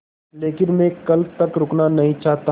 लेकिन मैं कल तक रुकना नहीं चाहता